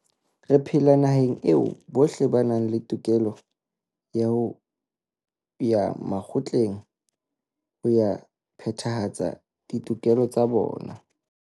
Re phela naheng eo bohle ba nang le tokelo ya ho ya makgotleng ho ya phethahatsa ditokelo tsa bona.